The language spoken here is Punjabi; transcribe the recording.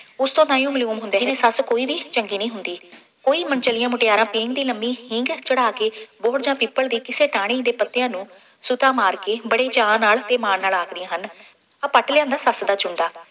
ਉਸ ਤੋਂ ਤਾਹੀਉਂ ਮਾਲੂਮ ਹੁੰਦੇ ਨੇ ਕਿ ਸੱਸ ਕੋਈ ਵੀ ਚੰਗੀ ਨਹੀਂ ਹੁੰਦੀ। ਕੋਈ ਮਨਚ਼ਲੀਆਂ ਮੁਟਿਆਰਾਂ ਪੀਂਘ ਦੀ ਲੰਬੀ ਪੀਂਘ ਚੜ੍ਹਾ ਕੇ ਬੋਹੜ ਜਾਂ ਪਿੱਪਲ ਦੀ ਕਿਸੇ ਟਾਹਣੀ ਦੇ ਪੱਤਿਆਂ ਨੂੰ ਸੂਤਾ ਮਾਰ ਕੇ ਬੜੇ ਚਾਅ ਨਾਲ ਅਤੇ ਮਾਣ ਨਾਲ ਆਖਦੀਆਂ ਹਨ। ਆਹ ਪੱਟ ਲਿਆਂਦਾ ਸੱਸ ਦਾ ਚੂੰਡਾ,